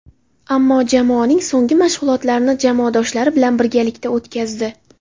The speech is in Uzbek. Ammo jamoaning so‘nggi mashg‘ulotlarini jamoadoshlari bilan birgalikda o‘tkazdi.